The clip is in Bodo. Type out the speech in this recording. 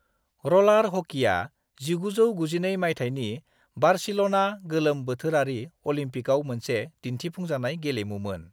र'लार हकीया 1992 मायथाइनि बार्सिल'ना गोलोम बोथोरारि अलिम्पिकाव मोनसे दिन्थिफुंजानाय गेलेमुमोन।